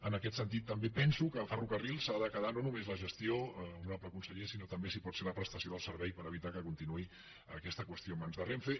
en aquest sentit també penso que ferrocarrils s’ha de quedar no només la gestió honorable conseller sinó també si pot ser la prestació del servei per evitar que continuï aquesta qüestió en mans de renfe